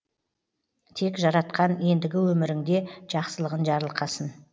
тек жаратқан ендігі өміріңде жақсылығын жарылқасын